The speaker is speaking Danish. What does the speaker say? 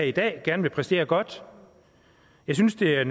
i dag gerne vil præstere godt jeg synes det er